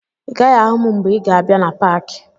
Ị gaghị ahụ m mgbe ị ga-abịa na paakị